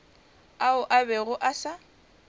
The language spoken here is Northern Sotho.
ao a bego a sa